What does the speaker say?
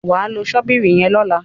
wá ló Ṣọ́bìrì yen lọla.